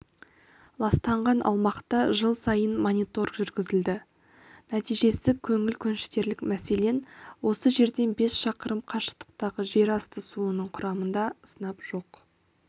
ластанған аумақта жыл сайын мониторг жүргізіледі нәтижесі көңіл көншітерлік мәселен осы жерден бес шақырым қашықтықтағы жерасты суының құрамында сынап жоқ